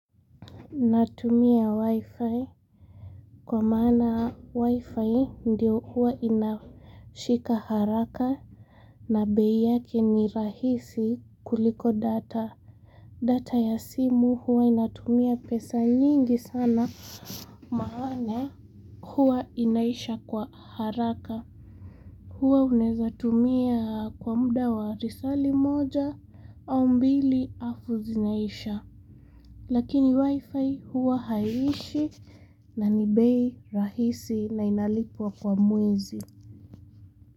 Natumia wi-fi kwa maana wi-fi ndio huwa inashika haraka na bei yake ni rahisi kuliko data. Data ya simu huwa inatumia pesa nyingi sana maana huwa inaisha kwa haraka. Huwa unaweza tumia kwa muda wa lisaa limoja au mbili alafu zinaisha. Lakini wifi huwa haiishi na ni bei rahisi na inalipuwa kwa mwezi.